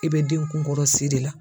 E bɛ den kunkɔrɔsi de la.